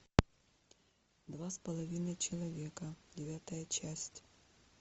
два с половиной человека девятая часть